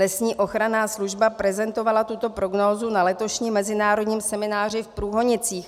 Lesní ochranná služba prezentovala tuto prognózu na letošním mezinárodním semináři v Průhonicích.